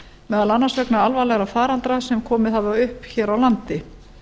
meðal annars vegna alvarlega faraldra sem komið hafa upp hér á landi